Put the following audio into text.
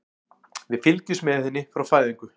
Við fylgjumst með henni frá fæðingu.